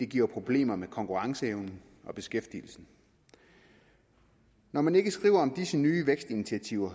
giver problemer med konkurrenceevnen og beskæftigelsen når man ikke skriver om disse nye vækstinitiativer